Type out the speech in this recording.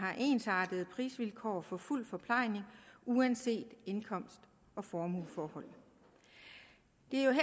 har ensartede prisvilkår for fuld forplejning uanset indkomst og formueforhold det